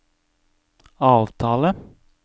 avtale